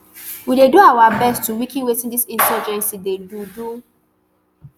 we dey do our best to weaken wetin dis insurgency dey do do